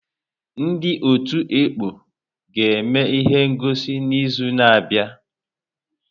Ndị ọtú ekpọ ga-eme ihe ngọsi n'izu na-abịa.